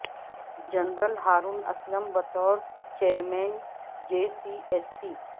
general Haroon Aslam بطور chairman J C S سی